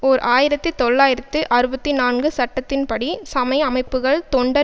ஓர் ஆயிரத்தி தொள்ளாயிரத்து அறுபத்தி நான்கு சட்டத்தின்படி சமய அமைப்புக்கள் தொண்டர்